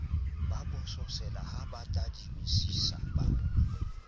bososela ha ba tadimisisa ba